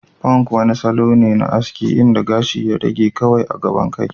Punk kuma wani salo ne na aski inda gashi ya rage kawai a gaban kai.